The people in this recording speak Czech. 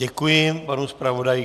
Děkuji panu zpravodaji.